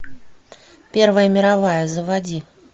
первая мировая заводи